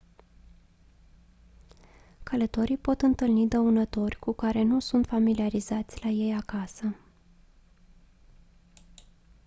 călătorii pot întâlni dăunători cu care nu sunt familiarizați la ei acasă